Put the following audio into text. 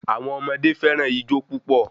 Àwọn ọmọdé fẹràn ijó púpò